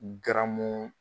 N garamu